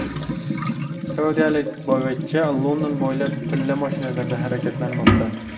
Saudiyalik boyvachcha London bo‘ylab tilla mashinalarda harakatlanmoqda.